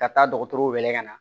Ka taa dɔgɔtɔrɔw wele ka na